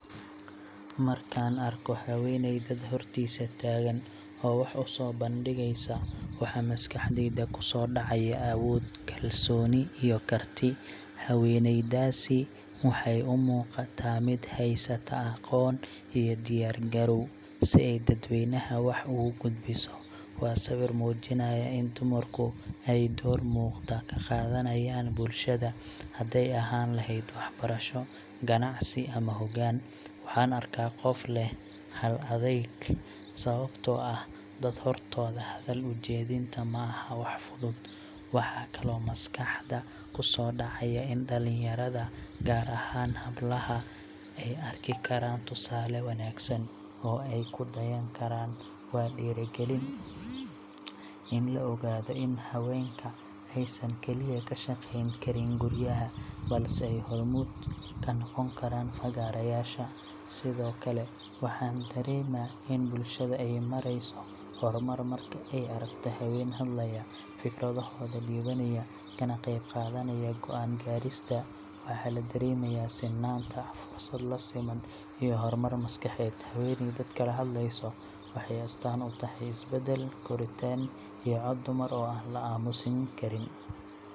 Markaan arko haweeney dad hortiisa taagan oo wax u soo bandhigeysa, waxaa maskaxdayda ku soo dhacaya awood, kalsooni iyo karti. Haweeneydaasi waxay u muuqataa mid haysata aqoon iyo diyaar garow, si ay dadweynaha wax ugu gudbiso. Waa sawir muujinaya in dumarku ay door muuqda ka qaadanayaan bulshada – hadday ahaan lahayd waxbarasho, ganacsi, ama hoggaan. Waxaan arkaa qof leh hal-adayg, sababtoo ah dad hortooda hadal u jeedinta ma ahan wax fudud. Waxaa kaloo maskaxda ku soo dhacaya in dhallinyarada, gaar ahaan hablaha, ay arki karaan tusaale wanaagsan oo ay ku dayan karaan. Waa dhiirrigelin in la ogaado in haweenka aysan kaliya ka shaqayn karin guryaha, balse ay hormuud ka noqon karaan fagaarayaasha. Sidoo kale, waxaan dareemaa in bulshada ay marayso horumar marka ay aragto haween hadlaya, fikradahooda dhiibanaya, kana qaybqaadanaya go'aan gaarista. Waxaa la dareemayaa sinnaanta, fursad la siman, iyo horumar maskaxeed. Haweeney dadka la hadlaysa waxay astaan u tahay isbeddel, koritaan iyo cod dumar oo aan la aamusiin karin.